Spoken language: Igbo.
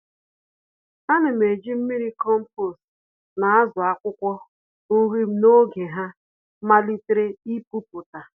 Ánám eji mmiri kompost na-àzụ akwụkwọ nrim n'oge ha malitere ipupụta